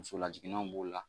Muso lajiginnenw b'o la